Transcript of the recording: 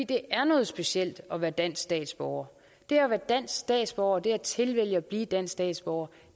det er noget specielt at være dansk statsborger det at være dansk statsborger det at tilvælge at blive dansk statsborger